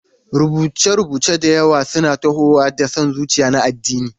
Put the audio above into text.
Rubuce-rubuce da yawa suna tahowa da son zuciya na addini.